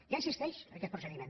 ja existeix aquest procediment